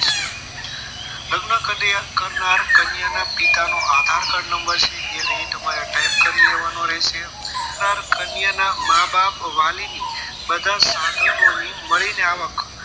લગ્ન કરનાર કન્યા ના પિતા નો આધારકાર્ડ નંબર છે એ તમારે અહીં type કરી લેવાનો રહેશે કન્યાના મા-બાપ વાલીની બધા સાધનોની મળીને આવક